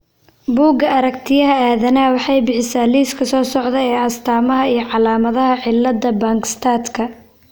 Bugga Aragtiyaha Aadanaha waxay bixisaa liiska soo socda ee astaamaha iyo calaamadaha cillada Bangstadka.